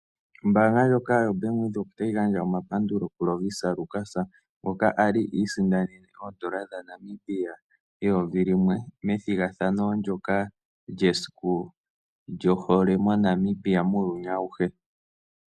Ombaanga ndjoka yo Bank Windhoek otayi gandja omapandulo ku Lovisa Lukas ngoka ali isindanene oodola dha Namibia eyovi limwe methigathano ndyoka lyesiku lyohole muuyuni awuhe.